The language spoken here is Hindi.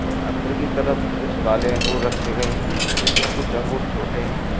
और अंदर की तरफ कुछ काले अंगूर रखे गए हैं जिसमें कुछ अंगूर छोटे हैं।